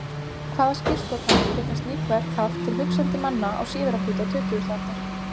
Hvaða skírskotanir geta slík verk haft til hugsandi manna á síðari hluta tuttugustu aldar?